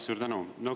Suur tänu!